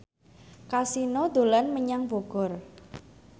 Kasino dolan menyang Bogor